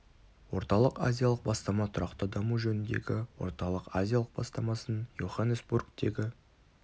орталық-азиялық бастама тұрақты даму жөніндегі орталық-азиялық бастамасын йоханнесбургтегі